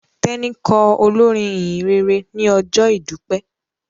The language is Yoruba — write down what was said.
Teni kọ olorin ìhìnrere ní ojó idupẹ.